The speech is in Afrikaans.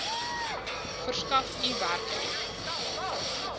verskaf u werkgewer